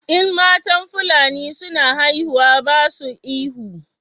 In matan fulani suna haihuwa ba su ihu